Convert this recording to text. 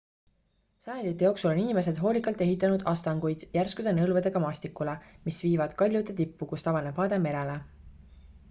sajandite jooksul on inimesed hoolikalt ehitanud astanguid järskude nõlvadega maastikule mis viivad kaljude tippu kust avaneb vaade merele